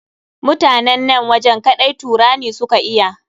Mutanen nan wajen kaɗai Turani su ka iya.